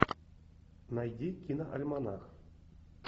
найди киноальманах